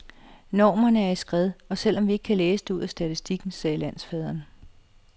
Normerne er i skred, selv om vi ikke kan læse det ud af statistikken, sagde landsfaderen.